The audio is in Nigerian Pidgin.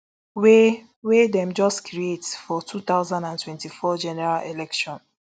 wey wey dem just create for two thousand and twenty-four general election